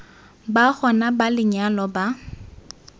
ba gona ba lenyalo ba